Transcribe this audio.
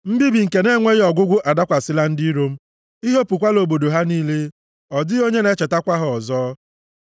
Mbibi nke na-enweghị ọgwụgwụ adakwasịla ndị iro m, I hopukwala obodo ha niile. Ọ dịghị onye na-echetakwa ha ọzọ.